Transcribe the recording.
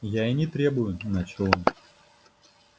я и не требую начал он